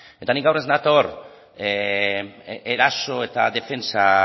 eta ni gaur ez nator eraso eta defentsa